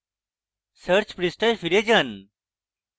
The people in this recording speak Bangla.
search পৃষ্ঠায় ফিরে যান